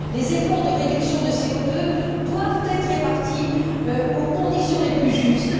Les efforts de réduction du CO 2 doivent être répartis aux conditions les plus justes.